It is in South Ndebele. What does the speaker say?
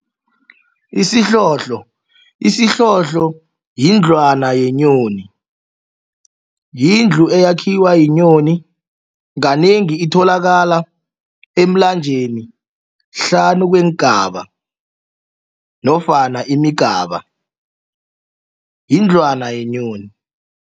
Isihlohlo, isihlohlo yindlwana yenyoni yindlu eyakhiwa yinyoni kanengi itholakala emlanjeni hlanu kweengaba nofana imigaba yindlwana yenyoni.